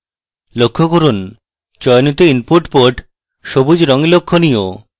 লক্ষ্য করুন চয়নিত input port সবুজ রঙে লক্ষণীয়